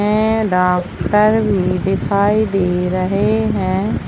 में डॉक्टर भी दिखाई दे रहे हैं।